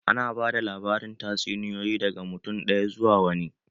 Ana ba da labarin tatsuniyoyi daga mutum ɗaya zuwa wani.